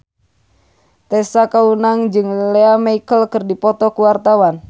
Tessa Kaunang jeung Lea Michele keur dipoto ku wartawan